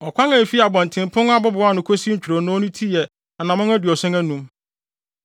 Ɔkwan a efi abɔntenpon abobow ano kosi ntwironoo no ti yɛ anammɔn aduɔson anum.